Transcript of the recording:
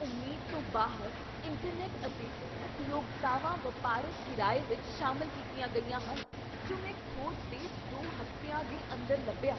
ਉਮੀਦ ਤੋਂ ਬਾਹਰ, ਇੰਟਰਨੈਟ ਅਤੇ ਉਪਯੋਗਤਾਵਾਂ ਵਪਾਰਕ ਕਿਰਾਏ ਵਿੱਚ ਸ਼ਾਮਲ ਕੀਤੀਆਂ ਗਈਆਂ ਹਨ ਜੋ ਮੈਂ ਖੋਜ ਦੇ ਦੋ ਹਫ਼ਤਿਆਂ ਦੇ ਅੰਦਰ ਲੱਭੀਆਂ।